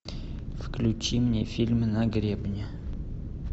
включи мне фильм на гребне